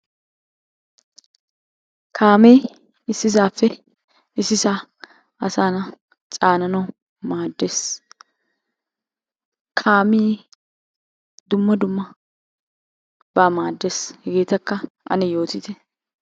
Kaamee issisaappe issisaa asaa na'aa caananawu maaddees. Kaamee dumma dummabaa maaddees. Hegeettakka ane yoottite.